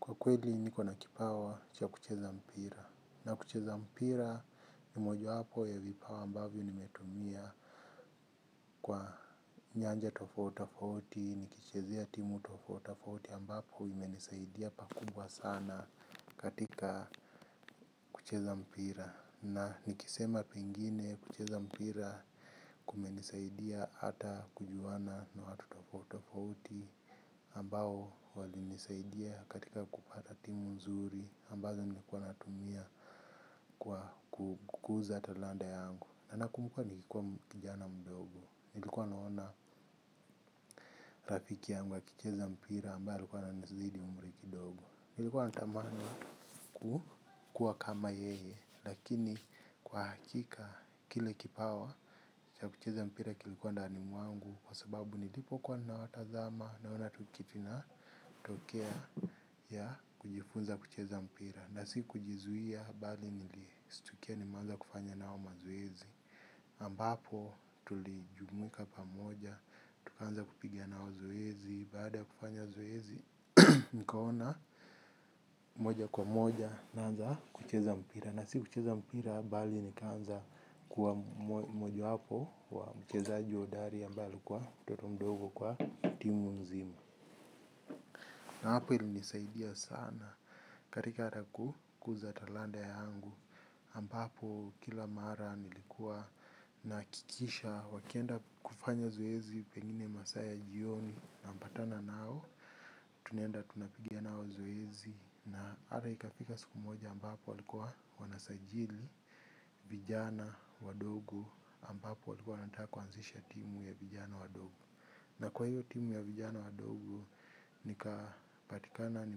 Kwa kweli niko na kipawa cha kucheza mpira, na kucheza mpira ni mojawapo ya vipawa ambavyo nimetumia kwa nyanja tofauti tofauti nikichezea timu tofauti tofauti ambapo imenisaidia pakubwa sana katika kucheza mpira. Na nikisema pengine kucheza mpira kumenisaidia hata kujuana na watu tofauti tofauti ambao walinisaidia katika kupata timu nzuri ambazo nilikuwa natumia kwa kukuza talanta yangu. Na nakumbuka nilikuwa kijana mdogo. Nilikuwa naona rafiki yangu akicheza mpira ambayo alikuwa ananizidi umri kidogo. Nilikuwa natamani kukuwa kama yeye. Lakini kwa hakika kile kipawa cha kucheza mpira kilikuwa ndani mwangu kwa sababu nilipokuwa nawatazama naona tu kitu inatokea ya kujifunza kucheza mpira. Na sikujizuia bali nilistukia nimeanza kufanya nao mazoezi ambapo tulijumuika pamoja. Tukaanza kupiga nao zoezi. Baada ya kufanya zoezi nikaona moja kwa moja naanza kucheza mpira, na si kucheza mpira bali nikaanza kuwa mojawapo wa mchezaji hodari ambaye alikuwa mtoto mdogo kwa timu nzima. Na hapo ilinisaidia sana katika hata ku, kuza talanta yangu ambapo kila mara nilikuwa nahakikisha wakienda kufanya zoezi pengine masaa ya jioni napatana nao tunaenda tunapiga nao zoezi na hata ikafika siku moja ambapo walikuwa wanasajili vijana wadogo ambapo walikua wanataka kuanzisha timu ya vijana wadogo. Na kwa hiyo timu ya vijana wadogo nikapatikana ni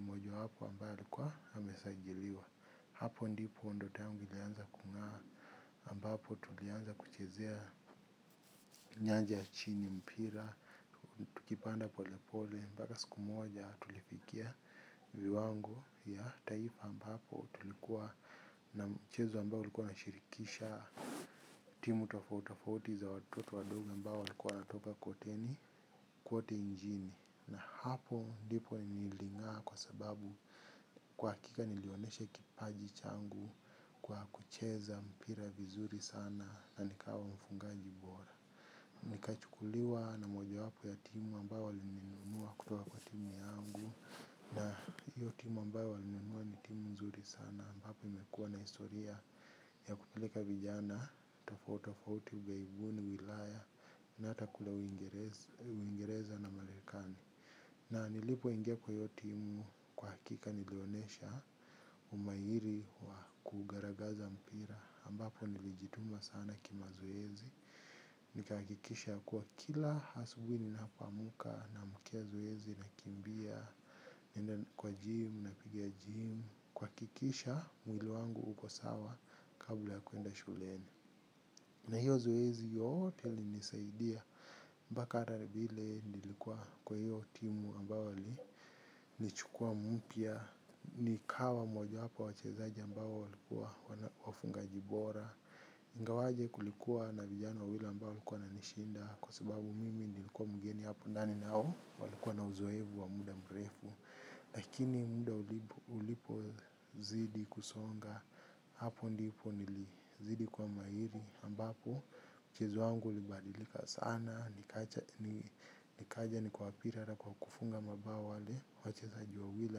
mojawapo ambaye alikuwa amesajiliwa. Hapo ndipo ndoto yangu ilianza kung'aa ambapo tulianza kuchezea nyanja ya chini ya mpira tukipanda pole pole mpaka siku moja tulifikia viwango vya taifa ambapo tulikuwa na mchezo ambao ulikuwa unashirikisha timu tofauti tofauti za watoto wadogo ambao walikuwa wanatoka kotini kwote njini na hapo ndipo niling'aa kwa sababu, kwa hakika nilionyeshe kipaji changu kwa kucheza mpira vizuri sana na nikawa mfungaji bora. Nikachukuliwa na mojawapo ya timu ambayo walininua kutoka kwa timu yangu. Na hiyo timu ambayo walininunua ni timu nzuri sana ambapo imekua na historia ya kupeleka vijana tofati tofauti ugaibuni, ulaya na hata kule uingereza na marekani. Na nilipoingia kwa hiyo timu kwa hakika nilonesha umahiri wa kugaragaza mpira ambapo nilijituma sana kimazoezi. Nikahakikisha kuwa kila hasubuhi ninapaomka, naamkia zoezi, nakimbia, naenda kwa kwa gym, napiga gym kuhakikisha mwili wangu uko sawa kabla ya kuenda shuleni. Na hiyo zoezi yote ilinisaidia. Mpaka hata vile nilikuwa kwa hiyo timu ambayo ni, nichukua mpya, nikawa mojawapo wa wachezaji ambao walikuwa wafungaji bora. Ingawaje kulikuwa na vijana wawili ambao walikuwa wananishinda kwa sababu mimi nilikuwa mgeni hapo ndani nao walikuwa na uzoefu wa muda mrefu. Lakini mda ulipozidi kusonga. Hapo ndipo nilizidi kuwa mahiri ambapo, mchezo wangu ulibadilika sana, nikaja nikawapiga hata kwa kufunga mabao wale wachezaji wawili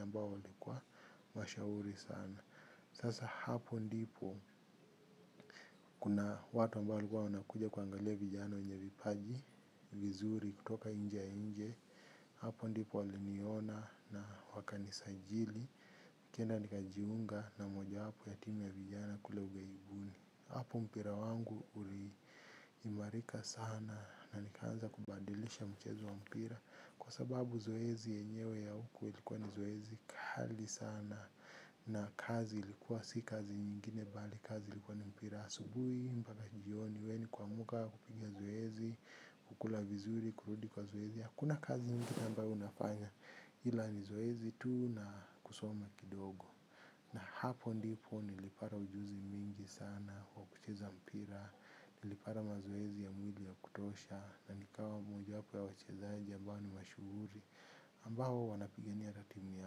ambao walikuwa mashauri sana. Sasa hapo ndipo kuna watu ambao walikuwa wanakuja kuangalia vijana wenye vipaji vizuri kutoka inje ya inje, hapo ndipo waliniona na wakanisajili. Nikaenda nikajiunga na mojawapo ya timu ya vijana kule ughaibuni. Hapo mpira wangu uliimarika sana na nikaanza kubadilisha mchezo wa mpira kwa sababu zoezi yenyewe ya huko ilikuwa ni zoezi kali sana. Na kazi ilikuwa si kazi nyingine bali kazi ilikuwa ni mpira asubuhi mpaka jioni, we ni kuamuka, kupigia zoezi kukula vizuri, kurudi kwa zoezi. Hakuna kazi ingine ambayo unafanya, ila ni zoezi tu na kusoma kidogo. Na hapo ndipo nilipata ujuzi mingi sana wa kucheza mpira, nilipata mazoezi ya mwili ya kutosha na nikawa mojawapo ya wachezaji ambao ni mashuhuri ambao wanapigania ratimu ya.